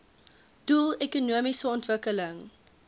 doel ekonomiese ontwikkeling